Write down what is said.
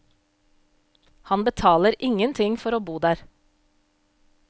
Han betaler ingenting for å bo der.